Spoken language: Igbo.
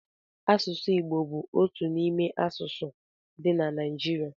Asụsụ Igbo bú otu n'ime asụsụ dị na Naijiria